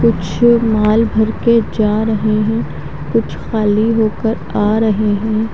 कुछ माल भर के जा रहे है कुछ खाली होकर आ रहे है।